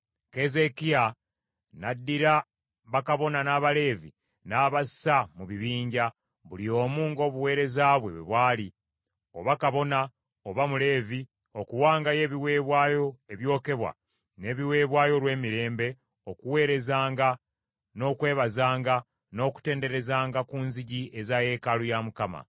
Keezeekiya n’addira bakabona n’Abaleevi n’abassa mu bibinja, buli omu ng’obuweereza bwe bwali, oba kabona oba muleevi, okuwangayo ebiweebwayo ebyokebwa n’ebiweebwayo olw’emirembe okuweerezanga, n’okwebazanga, n’okutenderezanga ku nzigi eza yeekaalu ya Mukama .